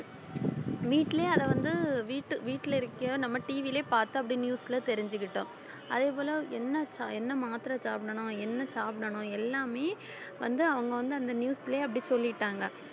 வீட்டுலயே அதை வந்து வீட்டு~ வீட்டுல இருக்கையோ நம்ம TV லயே பார்த்து அப்படியே news ல தெரிஞ்சுக்கிட்டோம் அதே போல என்ன ச~ மாத்திரை சாப்பிடணும் என்ன சாப்பிடணும் எல்லாமே வந்து அவங்க வந்து அந்த news லயே அப்படி சொல்லிட்டாங்க